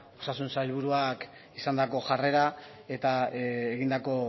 osasun sailburuak izandako jarrera eta egindako